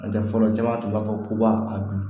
N'o tɛ fɔlɔ caman tun b'a fɔ ko ba a dun